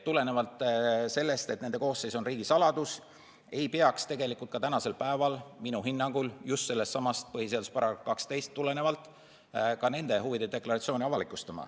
Tulenevalt sellest, et nende koosseis on riigisaladus, ei peaks tegelikult ka tänasel päeval minu hinnangul just sellestsamast põhiseaduse §-st 12 tulenevalt ka nende huvide deklaratsiooni avalikustama.